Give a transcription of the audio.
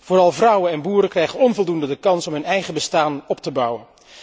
Vooral vrouwen en boeren krijgen onvoldoende de kans om een eigen bestaan op te bouwen.